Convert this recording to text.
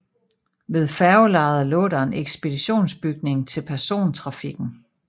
Ved færgelejet lå der en ekspeditionsbygning til persontrafikken